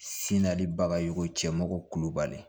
Sinalibaga ye ko cɛmɔgɔ kulubali